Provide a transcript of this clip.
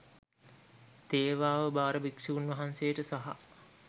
තේවාව භාර භික්‍ෂූන් වහන්සේට සහ